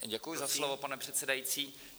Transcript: Děkuji za slovo, pane předsedající.